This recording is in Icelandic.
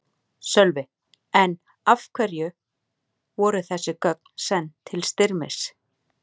Sölvi: En af hverju voru þessi gögn send til Styrmis?